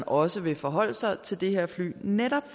også vil forholde sig til det her fly netop